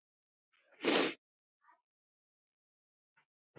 Hvíl í friði, vinur.